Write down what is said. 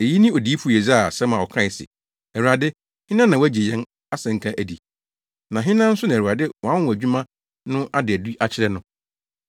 Eyi ne Odiyifo Yesaia asɛm a ɔkae se, “Awurade, hena na wagye yɛn asɛnka adi? Na hena nso na Awurade wʼanwonwadwuma no ada adi akyerɛ no?”